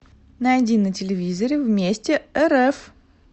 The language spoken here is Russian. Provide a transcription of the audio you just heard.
найди на телевизоре вместе рф